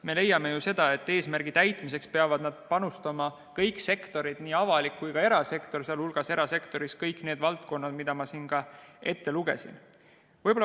Me leiame, et eesmärgi täitmiseks peavad panustama kõik sektorid, nii avalik kui ka erasektor, sh erasektoris kõik need valdkonnad, mida ma siin ka ette lugesin.